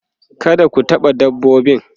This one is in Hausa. kada ku taɓa dabbobin